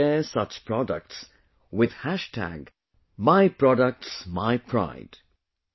You must share such products with #myproductsmypride